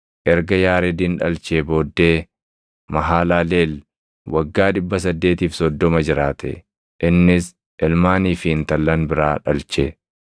Erga Yaaredin dhalchee booddee Mahalaleel waggaa 830 jiraate; innis ilmaanii fi intallan biraa dhalche.